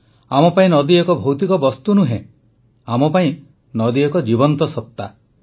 ଆମ ପାଇଁ ନଦୀ ଏକ ଭୌତିକ ବସ୍ତୁ ନୁହେଁ ଆମ ପାଇଁ ନଦୀ ଏକ ଜୀବନ୍ତ ସତ୍ତା